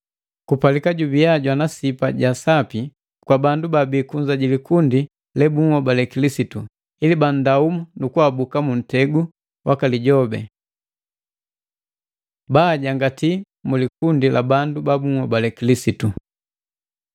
Kupalika jubiya jwana sipa ja sapi kwa bandu babii kunza ja likundi lebunhobale Kilisitu, ili bandaumu nukuabuka mu ntegu waka lijobi. Baajangati mu likundi la bandu babuhobale Kilisitu